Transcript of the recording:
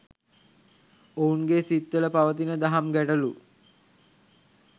ඔවුන්ගේ සිත්වල පවතින දහම් ගැටලු